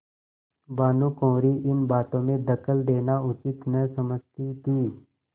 भानुकुँवरि इन बातों में दखल देना उचित न समझती थी